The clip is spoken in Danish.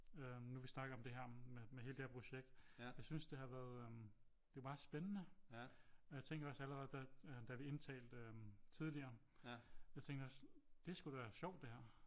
Øh nu vi snakker om det her med hele det her projekt jeg synes det har været øh det er meget spændende og jeg tænkte også allerede da vi indtalte tidligere jeg tænkte også det er sgu da sjovt det her